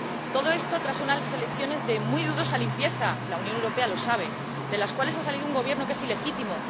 Todo esto tras una elecciones de muy dudosa limpieza —la Unión Europea lo sabe―, de las cuales ha salido un Gobierno que es ilegítimo.